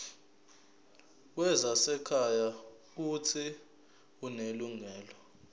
wezasekhaya uuthi unelungelo